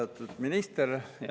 Austatud minister!